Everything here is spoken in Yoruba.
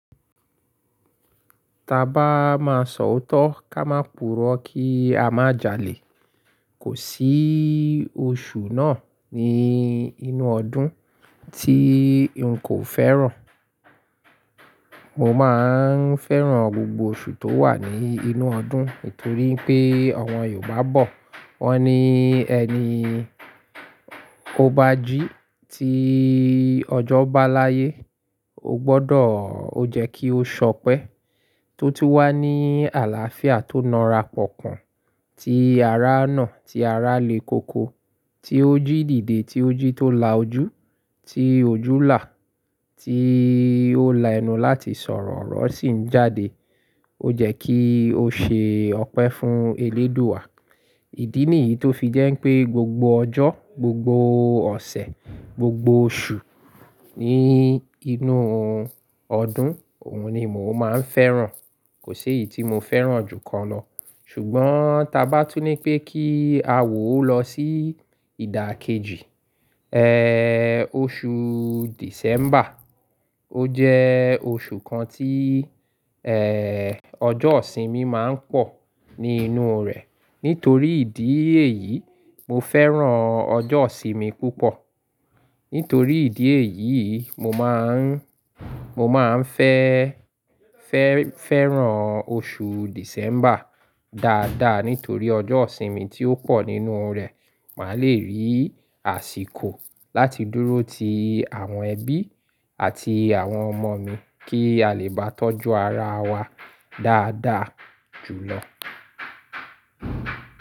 Ta bá máa sọ òótọ́ ká máa purọ́ kí a má jalè. Kò sí oṣù náà ní inú ọdún tí n kò fẹ́ràn. Mo máa ń fẹ́ràn gbogbo oṣù tó wà ní inú ọdún nítorí pé àwọn Yorùbá bọ̀ wọ́n ní: "Ẹni ó bá jí ti ọjọ́ bá láyé, ó gbọ́dọ̀ ó jẹ́ kí ó sọpẹ́." Tó tí wá ní àlàáfíà tó ńara pọ̀kan, tí ará nà, tí ará le koko, tí ó jí dìde, tí ó jí tó la ojú, tí ojú là, tí ó là ẹnu láti sọ̀rọ̀, ọ̀rọ̀ sì ń jáde, ó jẹ́ kí ó ṣe ọpẹ́ fún Elédùà. Ìdí nìyí tó fi jẹ́ ń pé gbogbo ọjọ́, gbogbo ọ̀sẹ̀, gbogbo oṣù ní inú ọdún, òun ni mò ń fẹ́ràn. Kò sí èyí tí mo fẹ́ràn jù kan lọ. Ṣùgbọ́n ta bá túní pé kí a wò ó lọ sí ìdà kejì, oṣù December. Ó jẹ́ oṣù kan tí ọjọ́ ọ̀ sìnmi máa ń pọ̀ ní inú rẹ̀. Nítorí ìdí èyí, mo fẹ́ràn ọjọ́ ọ̀sìn mi púpọ̀. Nítorí ìdí èyí, mo máa ń, mo máa ń fẹ́, fẹ́, fẹ́ràn oṣù December dáadáa nítorí ọjọ́ ọ̀ sìnmi tí ó pọ̀ nínú rẹ̀. Màá lè rí àsìkò láti dúró ti àwọn ẹbí àti àwọn ọmọ mi kí a lè bá tọ́jú ara wa dáadáa jùlọ.